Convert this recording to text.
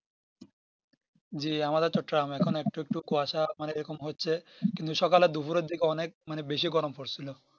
জি আমাদের তো Tram এখন একটু একটু কুয়াশা মানে এরকম হচ্ছে কিন্তু সকালে দুপুরের দিকে অনেক বেশি গরম পড়ছিলো